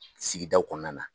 Sigidaw kɔnɔna na.